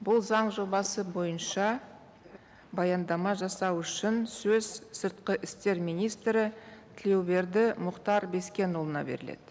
бұл заң жобасы бойынша баяндама жасау үшін сөз сыртқы істер министрі тілеуберді мұхтар бескенұлына беріледі